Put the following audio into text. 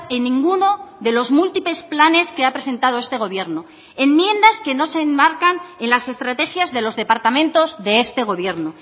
en ninguno de los múltiples planes que ha presentado este gobierno enmiendas que no se enmarcan en las estrategias de los departamentos de este gobierno